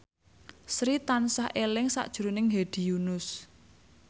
Sri tansah eling sakjroning Hedi Yunus